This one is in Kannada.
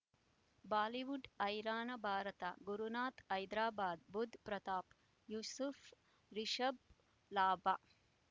ಬಾಲಿವುಡ್ ಹೈರಾಣ ಭಾರತ ಗುರುನಾಥ ಹೈದರಾಬಾದ್ ಬುಧ್ ಪ್ರತಾಪ್ ಯೂಸುಫ್ ರಿಷಬ್ ಲಾಭ